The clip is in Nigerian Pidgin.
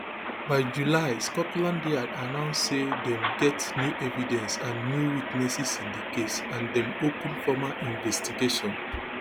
byjuly scotland yard announce say dem get new evidence and new witnesses in di case and dem open formal investigation